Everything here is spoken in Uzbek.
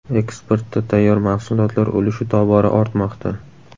Eksportda tayyor mahsulotlar ulushi tobora ortmoqda.